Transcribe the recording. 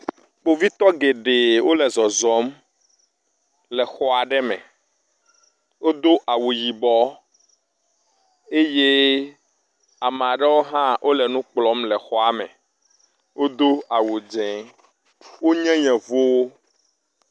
Kpovitɔ gɛɖɛɛ wolɛ zɔzɔm le xɔaɖe me wodó awu yibɔ eye ameaɖewo hã wóle nukplɔm le xɔa me, wodó awu dzɛ̃ wónye yevuwo